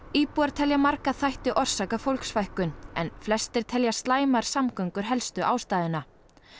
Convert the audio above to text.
íbúar telja marga þætti orsaka fólksfækkun en flestir telja slæmar samgöngur helstu ástæðuna